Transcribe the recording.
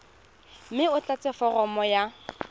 mme o tlatse foromo ya